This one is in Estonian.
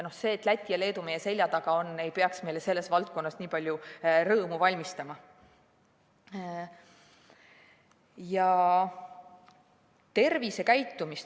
See, et Läti ja Leedu meie selja taga on, ei peaks meile selles valdkonnas nii palju rõõmu valmistama.